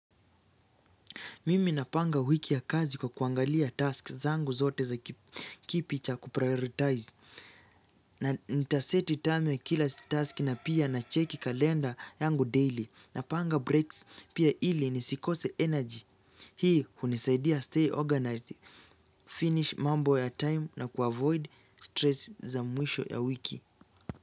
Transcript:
Mimi napanga wiki ya kazi kwa kuangalia tasks zangu zote za kipi cha kuprioritize. Na nitaseti time ya kila task na pia na checki kalenda yangu daily. Napanga breaks pia ili nisikose energy. Hii hunisaidia stay organized, finish mambo ya time na kuavoid stress za mwisho ya wiki.